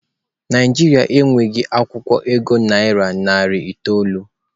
Naijiria e nweghi akwukwo ego naira narị itoolu.